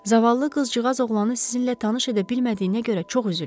Zavallı qızcığaz oğlanı sizinlə tanış edə bilmədiyinə görə çox üzülür.